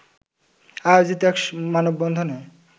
আয়োজিত এক মানববন্ধনে